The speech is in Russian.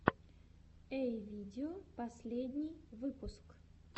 эй видео последний выпуск